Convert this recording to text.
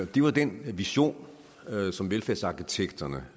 det var den vision som velfærdsarkitekterne